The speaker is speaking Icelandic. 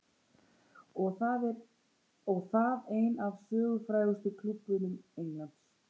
Og það einn af sögufrægustu klúbbum Englands.